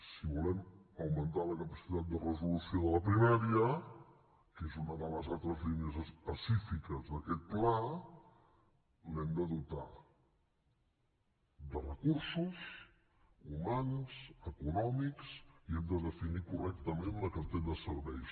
si volem augmentar la capacitat de resolució de la primària que és una de les altres línies específiques d’aquest pla l’hem de dotar de recursos humans econòmics i hem de definir correctament la cartera de serveis